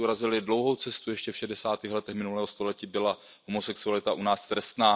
My jsme urazili dlouhou cestu, ještě v šedesátých letech minulého století byla homosexualita u nás trestná.